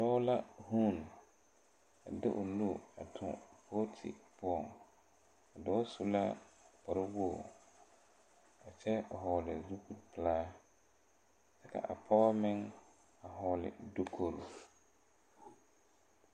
Dɔɔ ka guu a de o nuu tu booti poɔ a dɔɔ su na kpare wogi a kyɛ hɔɔle zupipelaa ka a pɔge meŋ hɔɔle dukiri.